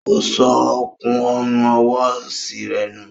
O sọ òkun Ọrùn ọwọ́ osi rẹ nù